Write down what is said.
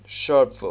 sharpeville